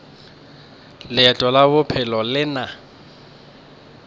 leeto la bophelo le na